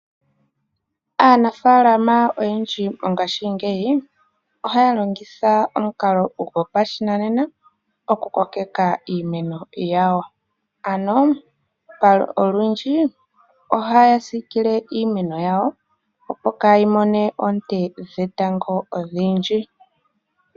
Aanafaalama oyendji mongaashingeyi ohaya longitha omukalo gopashinanena oku kokeka iimeno yawo. Ano olundji ohaya siikile iimeno yawo, opo kaa yi mone oonte dhetango odhindji.